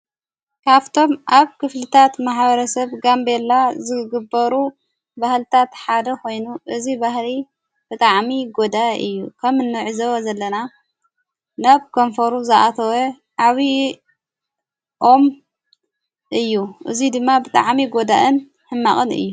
ካብቶም ኣብ ክፍልታት ማሓበረ ሰብ ጋምበላ ዝግበሩ ባህልታት ሓደ ኾይኑ እዙይ ባህሪ ብጥዓሚ ጐዳ እዩ ከም እኖዕ ዘዊ ዘለና ናብ ከንፈሩ ዝኣተወ ዓብዪ ኦም እዩ እዙይ ድማ ብጥዓሚ ጐዳእን ሕማቕን እዩ።